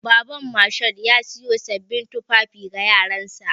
Baban Mashood ya siyo sabbin tufafi ga yaransa.